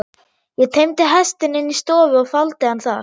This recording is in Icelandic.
Ég teymdi hestinn inn í stofu og faldi hann þar.